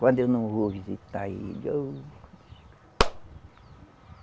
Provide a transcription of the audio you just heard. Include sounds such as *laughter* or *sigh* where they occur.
Quando eu não vou visitar ele. Ô *applause*